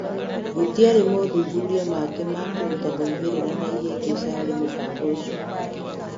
Gũtiari mothuthuria mangĩ ma kũruta moimĩrĩra na ihĩngica harĩ mũbango ũcio.